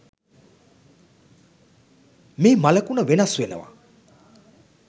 මේ මළකුණ වෙනස් වෙනවා